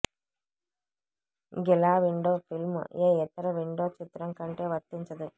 గిలా window film ఏ ఇతర window చిత్రం కంటే వర్తించదు